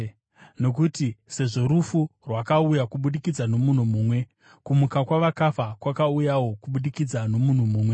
Nokuti sezvo rufu rwakauya kubudikidza nomunhu mumwe, kumuka kuvakafa kwakauyawo kubudikidza nomunhu mumwe.